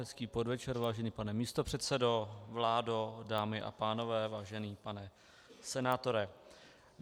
Hezký podvečer, vážený pane místopředsedo, vládo, dámy a pánové, vážený pane senátore.